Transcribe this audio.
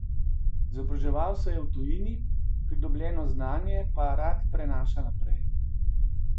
Izobraževal se je v tujini, pridobljeno znanje pa rad prenaša naprej.